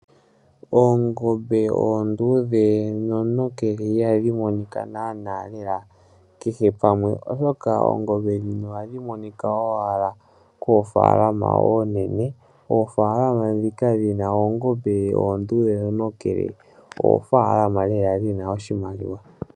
Oongombe oonduudhe noontokele ihadhi monika naanaa lela kehe pamwe. Oshoka oongombe ndhino ohadhi monika owala koofaalama oonene. Oofaalama ndhika dhina oongombe onduudhe noontokele oofaalama lela dhina oshimaliwa.